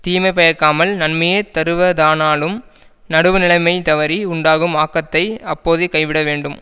தீமை பயக்காமல் நன்மையே தருவதானாலும் நடுவு நிலைமை தவறி உண்டாகும் ஆக்கத்தை அப்போதே கைவிட வேண்டும்